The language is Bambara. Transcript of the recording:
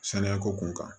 Saniya ko kun kan